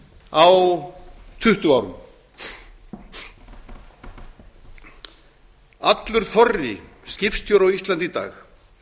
á tuttugu árum allur þorri skipstjóra á íslandi í dag